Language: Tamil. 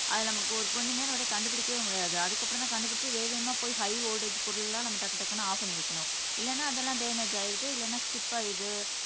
அது நமக்கு ஒரு கொஞ்சம் நேரம் வந்து கண்டுபிடிக்கவே முடியாது அதுக்கு அப்புறம்தான் கண்டுபிடிச்சு வேக வேகமா போயி ஹை வோல்ட்டேஜ் பொருள் எல்லாம் நம்ம டக்கு டக்குன்னு ஆப் பண்ணி வைக்கணும் இல்லனா அதெல்லாம் டேமேஜ் ஆயிடுது இல்லைன்னா ஸ்டிப் ஆயிடுது